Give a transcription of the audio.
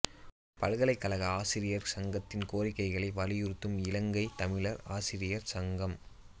பல்கலைக்கழக ஆசிரியர் சங்கத்தின் கோரிக்கைகளை வலியுறுத்தும் இலங்கைத் தமிழர் ஆசிரியர் சங்கம்